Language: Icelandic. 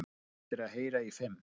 Eftir að heyra í fimm